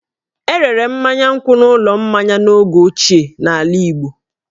E rere mmanya nkwụ n'ụlọ mmanya n'oge ochie n'ala Igbo